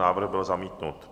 Návrh byl zamítnut.